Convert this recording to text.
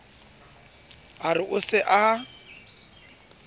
a re o se a